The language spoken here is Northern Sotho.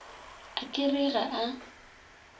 a ka re ga a